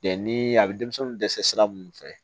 ni a bɛ denmisɛnnin dɛsɛ sira mun fɛ